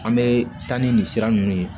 An bɛ taa ni nin sira ninnu ye